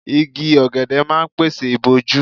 Igi ọ̀gẹ̀dẹ̀ máa ń pèsè ìbòjú.